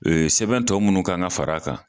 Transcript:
Sɛbɛn tɔ minnu kan ka fara a kan